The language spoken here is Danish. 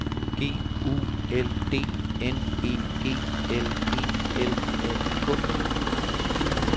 G U L D N E G L E L A K